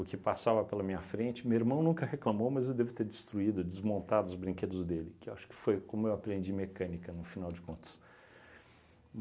O que passava pela minha frente, meu irmão nunca reclamou, mas eu devo ter destruído, desmontado os brinquedos dele, que acho que foi como eu aprendi mecânica, no final de contas.